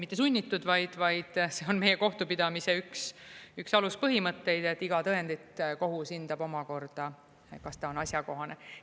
Mitte sunnitud, vaid see on meie kohtupidamise üks aluspõhimõtteid, et iga tõendit kohus hindab omakorda, kas ta on asjakohane.